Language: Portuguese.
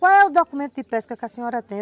Qual é o documento de pesca que a senhora tem?